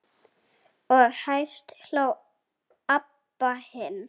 Og hæst hló Abba hin.